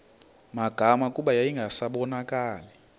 magama kuba yayingasabonakali